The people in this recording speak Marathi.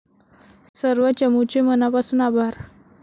सर्व चमूचे मनापासून, आभार.